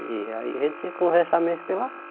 E aí, a gente tinha que conversar mesmo pelas